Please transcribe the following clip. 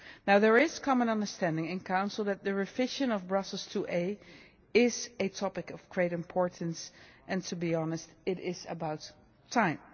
There is common understanding in Council that the revision of Brussels IIa is a topic of great importance and, to be honest, it is about time.